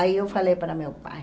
Aí eu falei para meu pai.